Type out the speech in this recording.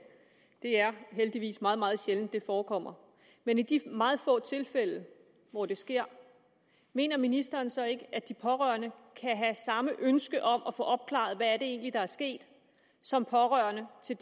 det er heldigvis meget meget sjældent at det forekommer men i de meget få tilfælde hvor det sker mener ministeren så ikke at de pårørende kan have samme ønske om at få opklaret hvad det egentlig er der er sket som pårørende til